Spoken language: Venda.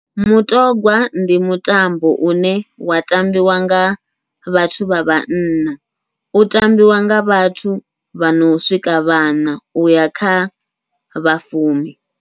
Mutogwa ndi mutambo une wa tambiwa nga vhathu vha vhanna, u tambiwa nga vhathu vhano swika vhaṋa uya khavha fumi.